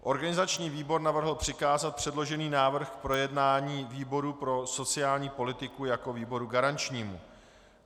Organizační výbor navrhl přikázat předložený návrh k projednání výboru pro sociální politiku jako výboru garančnímu.